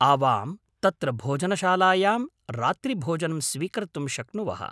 आवां तत्र भोजनशालायां रात्रिभोजनं स्वीकर्तुं शक्नुवः।